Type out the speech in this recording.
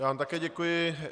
Já vám také děkuji.